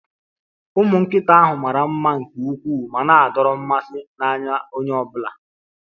Ụmụ nkịta ahụ mara mma nke ukwuu ma na-adọrọ mmasị n'anya ọ bụla